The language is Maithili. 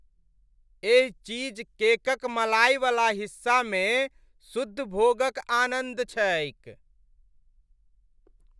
एहि चीजकेक क मलाईवला हिस्सामे शुद्ध भोगक आनन्द छैक।